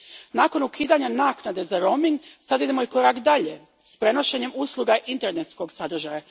Nakon ukidanja naknade za roaming, sad idemo i korak dalje s prenošenjem usluga internetskog sadržaja.